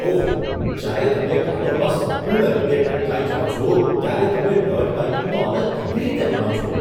ઓહ! જ્યારે તમે કાદવમાં સંપૂર્ણ રીતે ઢંકાઇ જાઓ છો ત્યારે તમે ડર્ટ બાઇકિંગનો આનંદ કેવી રીતે માણો છો?